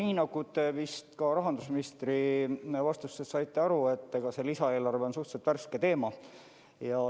Nii nagu te vist ka rahandusministri vastustest saite aru, see lisaeelarve on suhteliselt värske teema.